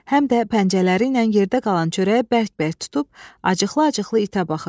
Həm də pəncələriylə yerdə qalan çörəyi bərk-bərk tutub acıqlı-acıqlı itə baxır.